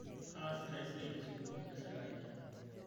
kaasita esiai te sukul e sirkali